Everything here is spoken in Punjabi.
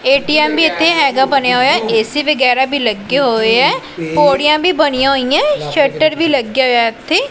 ਏ_ਟੀ_ਐਮ ਵੀ ਇੱਥੇ ਹਿਗਾ ਬਣਿਆ ਹੋਇਆ ਏ_ਸੀ ਵਗੈਰਾ ਵੀ ਲੱਗੇ ਹੋਇਆਂ ਪੌੜੀਆਂ ਵੀ ਬਣਿਆ ਹੋਈਆਂ ਸ਼ਟਰ ਵੀ ਲੱਗਿਆ ਹੋਇਆ ਇੱਥੇ।